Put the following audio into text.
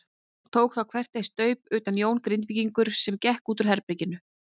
Tók þá hver eitt staup utan Jón Grindvíkingur sem gekk út úr herberginu.